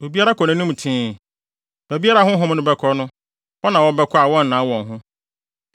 Obiara kɔ nʼanim tee. Baabiara a honhom no bɛkɔ no, hɔ na wɔbɛkɔ a wɔnnan wɔn ho.